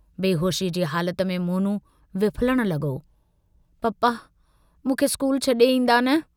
बेहोशीअ जी हालत में मोनू विफलण लगो, पापा, मूंखे स्कूल छडे ईन्दा न!